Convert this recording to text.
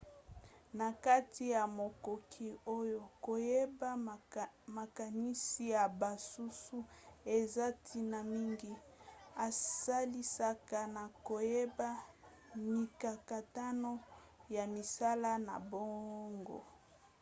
na kati ya makoki oyo koyeba makanisi ya basusu eza ntina mingi. esalisaka na koyeba mikakatano ya misala na bango